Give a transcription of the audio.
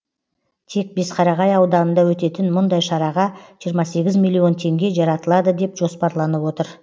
тек бесқарағай ауданында өтетін мұндай шараға жиырма сегіз миллион теңге жаратылады деп жоспарланып отыр